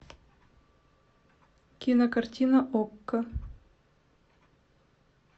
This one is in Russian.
кинокартина окко